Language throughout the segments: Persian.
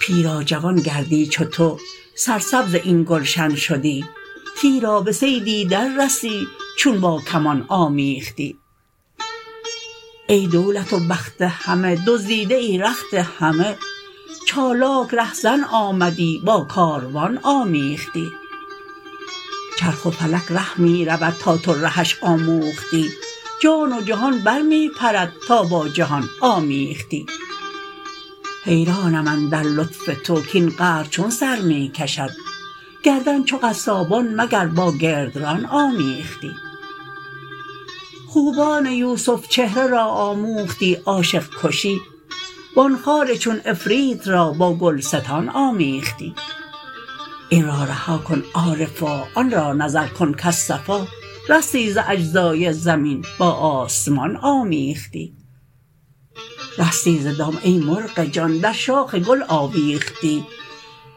پیرا جوان گردی چو تو سرسبز این گلشن شدی تیرا به صیدی دررسی چون با کمان آمیختی ای دولت و بخت همه دزدیده ای رخت همه چالاک رهزن آمدی با کاروان آمیختی چرخ و فلک ره می رود تا تو رهش آموختی جان و جهان بر می پرد تا با جهان آمیختی حیرانم اندر لطف تو کاین قهر چون سر می کشد گردن چو قصابان مگر با گردران آمیختی خوبان یوسف چهره را آموختی عاشق کشی و آن خار چون عفریت را با گلستان آمیختی این را رها کن عارفا آن را نظر کن کز صفا رستی ز اجزای زمین با آسمان آمیختی رستی ز دام ای مرغ جان در شاخ گل آویختی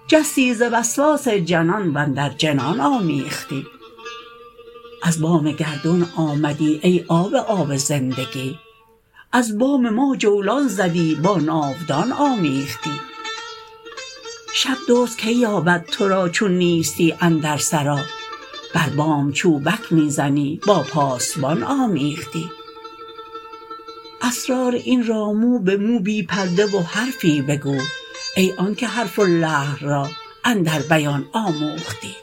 جستی ز وسواس جنان و اندر جنان آمیختی از بام گردون آمدی ای آب آب زندگی از بام ما جولان زدی با ناودان آمیختی شب دزد کی یابد تو را چون نیستی اندر سرا بر بام چوبک می زنی با پاسبان آمیختی اسرار این را مو به مو بی پرده و حرفی بگو ای آنک حرف و لحن را اندر بیان آمیختی